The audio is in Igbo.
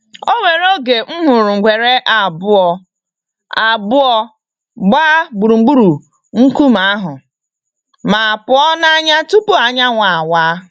Onwere oge m hụrụ ngwere abụọ abụọ gbaea gburugburu nkume ahụ, ma pụọ n'anya tupu anyanwụ awa.